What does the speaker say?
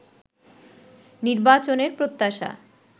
নির্বাচনের প্রত্যাশা